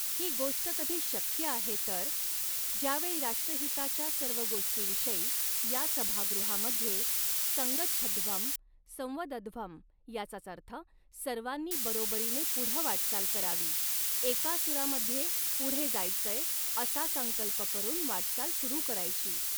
ही गोष्ट कधी शक्य आहे तर, ज्यावेळी राष्ट्रहिताच्या सर्व गोष्टीविषयी या सभागृहामध्ये संगच्छध्वम्, संवदध्वम् याचाच अर्थ सर्वांनी बरोबरीने पुढं वाटचाल करावी, एका सूरामध्ये पुढे जायचंय, असा संकल्प करून वाटचाल सुरू करायची.